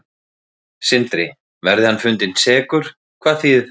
Sindri: Verði hann fundinn sekur, hvað þýðir það?